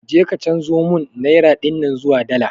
Je ka chanzo mun naira dinnan zuwa dala